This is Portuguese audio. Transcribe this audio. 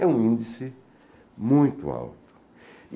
É um índice muito alto.